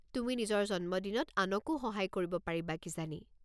তুমি নিজৰ জন্মদিনত আনকো সহায় কৰিব পাৰিবা কিজানি।